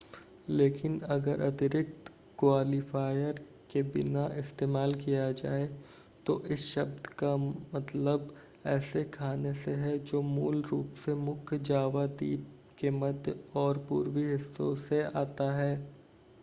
लेकिन अगर अतिरिक्त क्वालिफ़ायर के बिना इस्तेमाल किया जाए तो इस शब्द का मतलब ऐसे खाने से है जो मूल रूप से मुख्य जावा द्वीप के मध्य और पूर्वी हिस्सों से आता है